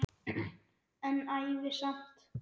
En ævi samt.